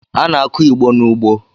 A na-akụ Igbo n’ugbo